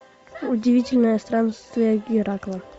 удивительное странствие геракла